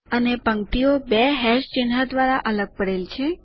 અને પંક્તિઓ બે હેશ ચિહ્નો દ્વારા અલગ પડે છે